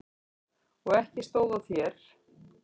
Og ekki stóð á þér.